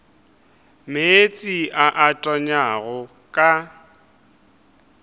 meetse a a tonyago ka